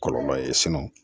Kɔlɔlɔ ye